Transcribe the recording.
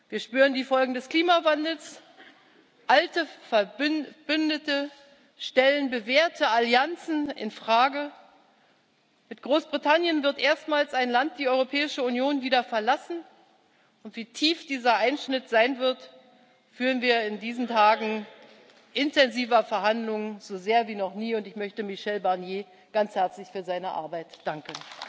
Wir spüren die Folgen des Klimawandels, alte Verbündete stellen bewährte Allianzen in Frage, mit Großbritannien wird erstmals ein Land die Europäische Union wieder verlassen, wie tief dieser Einschnitt sein wird, spüren wir in diesen Tagen intensiver Verhandlungen so sehr wie noch nie, und ich möchte Michel Barnier ganz herzlich für seine Arbeit danken.